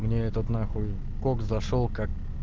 мне этот нахуй кокс зашёл как